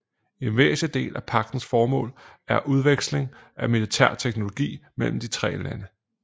En væsentlig del af pagtens formål er udveksling af militær teknologi mellem de tre lande